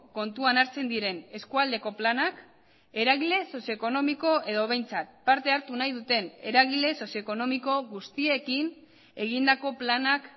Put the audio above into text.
kontuan hartzen diren eskualdeko planak eragile sozio ekonomiko edo behintzat parte hartu nahi duten eragile sozio ekonomiko guztiekin egindako planak